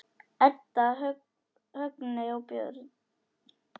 Edda, Högni og börn.